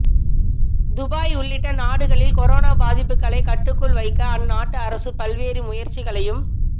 Dubai உள்ளிட்ட நாடுகளில் corona பாதிப்புகளை கட்டுக்குள் வைக்க அந்நாட்டு அரசு பல்வேறு முயற்சிகளையும்